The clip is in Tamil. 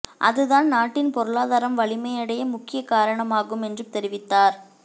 அதுதான் நாட்டின் பொருளாதாரம் வலிமையடைய முக்கிய காரணமாகும் என்று தெரிவித்தார்